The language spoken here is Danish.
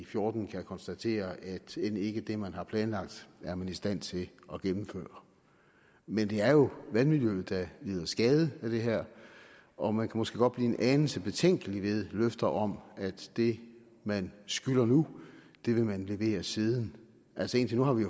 fjorten kan konstatere at end ikke det man har planlagt er man i stand til at gennemføre men det er jo vandmiljøet der lider skade med det her og man måske godt blive en anelse betænkelig ved løfter om at det man skylder nu vil man levere siden indtil nu har vi